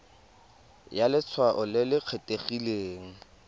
ya letshwao le le kgethegileng